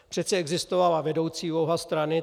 Přece existovala vedoucí úloha strany.